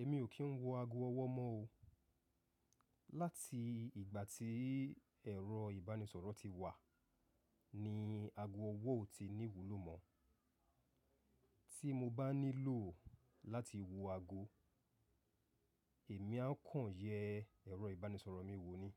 Èmi ò kí ń wọ ago ọwọ́ mọ́ o. Láti ìgbà tí ẹ̀rọ ìbánisọ̀rọ̀ ti wà, ni ago ọwọ́ ò ti ní iwúlò mọ́. Tí mo bá nílò láti wo ago, èmi a kàn yẹ ẹ̀rọ ìbánisọ̀rọ̀ mi wò ó ní.